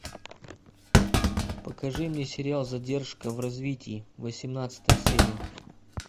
покажи мне сериал задержка в развитии восемнадцатая серия